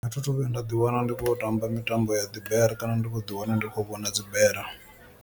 A thi thu vhuya nda ḓi wana ndi khou ya u tamba mitambo ya dzi bere kana ndi kho ḓi wana ndi khou vhona dzi bere.